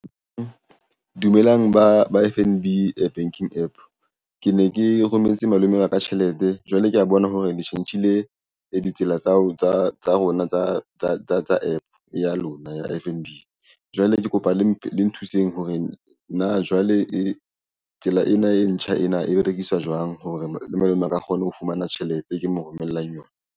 Dumelang ba ba F_N_B banking APP ke ne ke rometse malome wa ka tjhelete, jwale kea bona hore le tjhentjhile le ditsela tsa rona tsa APP ya lona ya F_N_B Jwale ke kapa le nthuseng hore na jwale e tsela ena e ntjha ena e berekiswa jwang hore malome a ka kgona ho fumana tjhelete e ke mo romellang yona?